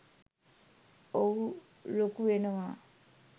ඔහු ලොකු වෙනවා